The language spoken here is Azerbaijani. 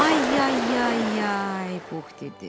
Ay ay ay ay Pux dedi.